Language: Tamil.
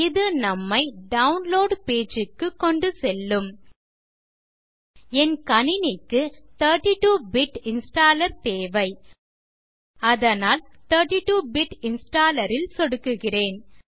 இது நம்மை டவுன்லோட் பேஜ் க்கு கொண்டு செல்லும் என் கணினிக்கு 32 பிட் இன்ஸ்டாலர் தேவை அதனால் 32 பிட் இன்ஸ்டாலர் ல் சொடுக்குகிறேன்